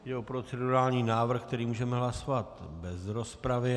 Jde o procedurální návrh, který můžeme hlasovat bez rozpravy.